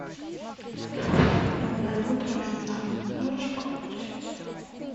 доброе утро вьетнам можешь включить